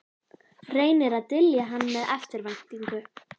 Reynir að dylja hann með eftirvæntingu.